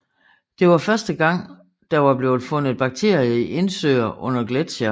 Det var første gang der er blevet fundet bakterier i indsøer under gletsjere